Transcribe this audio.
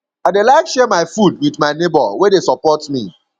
i dey like share my food wit my nebor wey dey support me